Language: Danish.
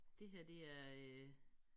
Det her det er øh